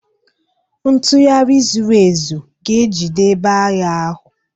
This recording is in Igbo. Ntugharị zuru ezu ga-ejide ebe agha ahụ.